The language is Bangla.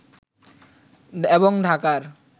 এবং ঢাকার